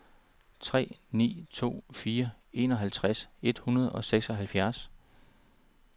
tre ni to fire enoghalvtreds et hundrede og seksoghalvfjerds